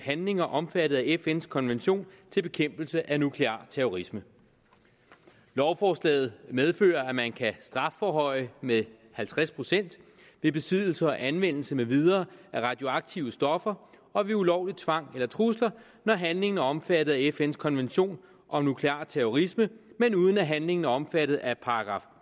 handlinger omfattet af fns konvention til bekæmpelse af nuklear terrorisme lovforslaget medfører at man kan strafforhøje med halvtreds procent ved besiddelse og anvendelse med videre af radioaktive stoffer og ved ulovlig tvang eller trusler når handlingen er omfattet af fns konvention om nuklear terrorisme men uden at handlingen er omfattet af §